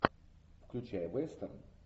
включай вестерн